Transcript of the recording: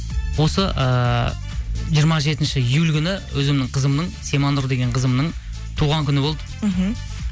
осы ыыы жиырма жетінші июль күні өзімнің қызымның симанұр деген қызымның туған күні болды мхм